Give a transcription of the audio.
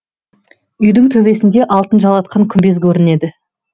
үйдің төбесінде алтын жалатқан күмбез көрінеді